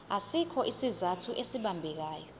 asikho isizathu esibambekayo